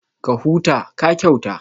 Ka huta, ka kyauta